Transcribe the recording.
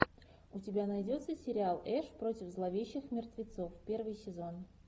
у тебя найдется сериал эш против зловещих мертвецов первый сезон